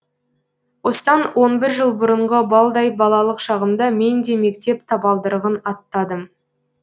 осыдан он бір жыл бұрынғы балдай балалық шағымда мен де мектеп табалдырығын аттадым